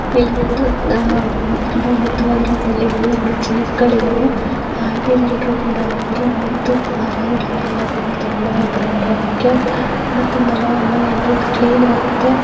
ಇಲ್ಲೊಂದುಈಕಡೆ ಉದ್ದವಾಗಿರುವ ಬಿಲ್ಡಿಂಗ್ ಅಲ್ಲಿ ಯಾರದು ಜೀಪ್ ಗಳು ಇದಾವೆ ಆಂಟಿ ಎಲ್ಲರೂ ಕೂಡ ಇದಾರೆ ಮತ್ತು ಮರ ಗಿಡಗಳು ಕೂಡ ತುಂಬಾ ಇದಾವೆ ನೋಡೂದುಕ್ಕೆ ಮತ್ತು ನೆಲ ಎಲ್ಲ ಕ್ಲೀನ್ ಆಗಿ ಇದೆ.